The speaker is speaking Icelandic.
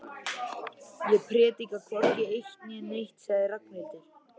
Ég predika hvorki eitt né neitt sagði Ragnhildur.